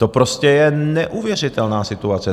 To prostě je neuvěřitelná situace!